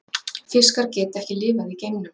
fiskar geta ekki lifað í geimnum